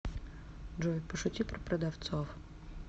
джой пошути про продавцов